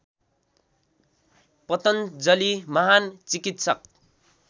पतञ्जलि महान् चिकित्सक